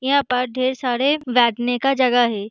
यहाँ पर ढेर सारे बैठने का जगह है।